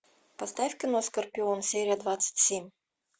поставь кино скорпион серия двадцать семь